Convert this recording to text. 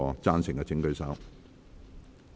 贊成的請舉手。